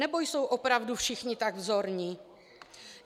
Nebo jsou opravdu všichni tak vzorní?